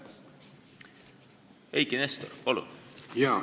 Eiki Nestor, palun!